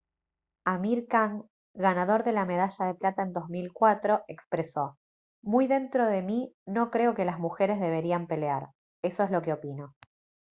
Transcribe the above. amir khan ganador de la medalla de plata en 2004 expresó: «muy dentro de mí no creo que las mujeres deberían pelear. eso es lo que opino»